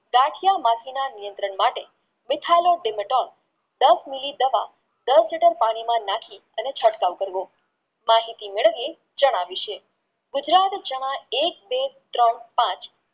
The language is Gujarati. ગાંઠિયા મથિન નિયંત્રણ માટે મિથાઇલ દસ MILI દવા દર પાણીમાં નાખી તેનો ચટકાવ કરવો માહિતી મેળવીયે ચણા વિષે ગુજરાત ચણા એક બે ત્રણ પાંચ